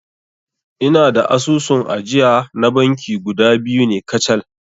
Ina da asusun ajiya na banki guda biyu ne kacal